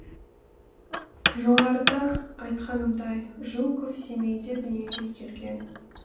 жоғарыда айтқанымдай жуков семейде дүниеге келген